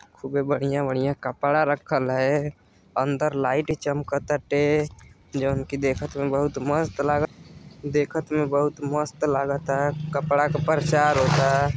खूबे बढ़िया-बढ़िया कपड़ा रखल है। अंदर लाइट चमक ताटे। जोन कि देखत में बहोत मस्त लागत। देखत मे बहोत मस्त लागता। कपड़ा क प्रचार होता।